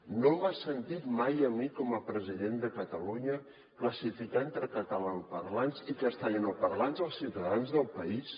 no m’ha sentit mai a mi com a president de catalunya classificar entre catalanoparlants i castellanoparlants els ciutadans del país